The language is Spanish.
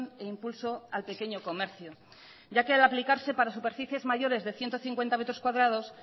e impulso al pequeño comercio ya que al aplicarse para superficies mayores de ciento cincuenta metros cuadrados